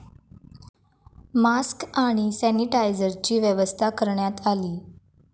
Mask आणि सॅनिटायजरची व्यवस्था करण्यात आली.